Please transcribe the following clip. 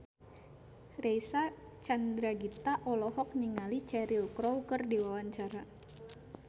Reysa Chandragitta olohok ningali Cheryl Crow keur diwawancara